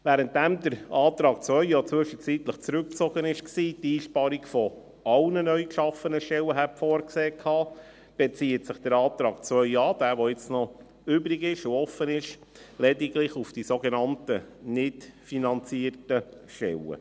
Während der Antrag 2 zwischenzeitlich zurückgezogen wurde, der die Einsparung aller neu geschaffenen Stellen vorgesehen hätte, bezieht sich der Antrag 2.a, der jetzt noch offen ist, lediglich auf die sogenannten «nicht finanzierten Stellen».